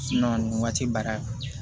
nin waati baara